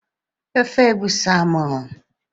Ofe egusi amuru.